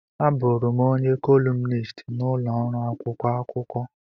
Abụụrụ m onye kọlumnist n'ụlọ ọrụ akwụkwọ akụkọ.